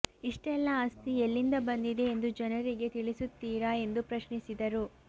ಇಷ್ಟೆಲ್ಲಾ ಆಸ್ತಿ ಎಲ್ಲಿಂದ ಬಂದಿದೆ ಎಂದು ಜನರಿಗೆ ತಿಳಿಸುತ್ತೀರಾ ಎಂದು ಪ್ರಶ್ನಿಸಿದರು